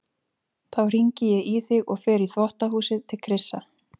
Þá hringi ég í þig og fer í þvottahúsið til Krissa.